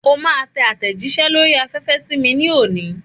O máa tẹ àtẹ̀jíṣẹ́ lórí afẹ́fẹ́ sí mi ní òní.